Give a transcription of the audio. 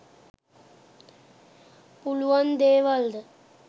පුළුවන් දේවල්ද?